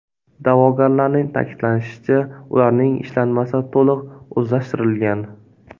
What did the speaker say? Da’vogarlarning ta’kidlashicha, ularning ishlanmasi to‘liq o‘zlashtirilgan.